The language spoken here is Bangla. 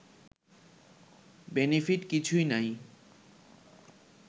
বেনিফিট কিছুই নাই